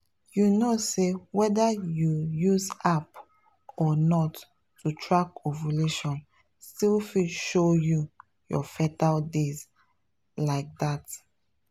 you know say whether you use app or not to track ovulation still fit show you your fertile days — like that.